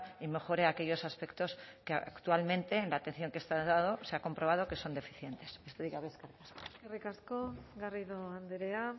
y mejore aquellos aspectos que actualmente en la atención que está dando se ha comprobado que son deficientes besterik gabe eskerrik asko eskerrik asko garrido andrea